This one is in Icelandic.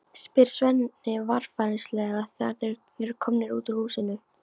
spyr Svenni varfærnislega þegar þeir eru komnir út úr húsinu.